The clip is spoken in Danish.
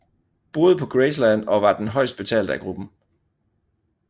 Boede på Graceland og var den højst betalte af gruppen